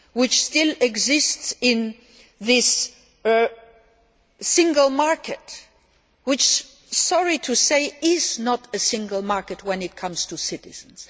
that still exist in this single market, which, sorry to say, is not a single market when it comes to citizens.